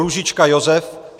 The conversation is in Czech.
Růžička Josef